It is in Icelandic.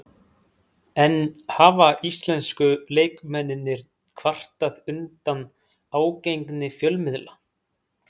En hafa íslensku leikmennirnir kvartað undan ágengni fjölmiðla?